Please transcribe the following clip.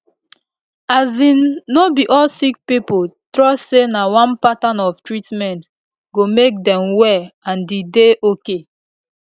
as in no be all sick pipo trust say na one pattern of treatment go make dem well and e dey ok